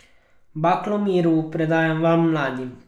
Baklo miru predajam vam, mladim.